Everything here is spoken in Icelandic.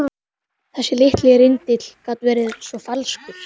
Þessi litli rindill gat verið svo falskur.